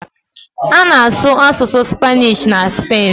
A na-asụ asụsụ Spanish na Spen